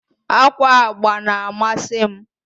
Ákwà agba na-amasị m.